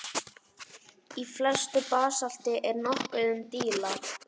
Í flestu basalti er nokkuð um díla.